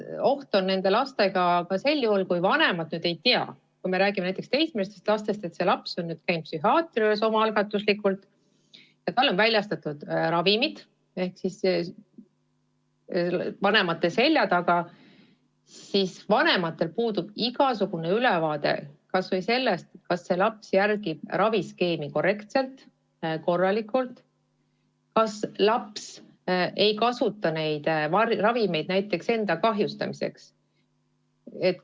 Oht on laste puhul ka sel juhul, kui vanemad ei tea – kui räägime näiteks teismelistest lastest –, et laps on omal algatusel psühhiaatri juures käinud ja talle on väljastatud ravimid, vanemate selja taga, ning vanematel puudub igasugune ülevaade kas või sellest, kas laps järgib raviskeemi korralikult ja ega ta neid ravimeid näiteks enda kahjustamiseks ei kasuta.